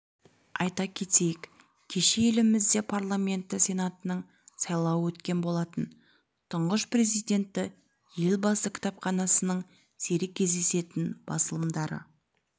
айта кетейік кеше елімізде парламенті сенатының сайлауы өткен болатын тұңғыш президенті елбасы кітапханасының сирек кездесетін басылымдары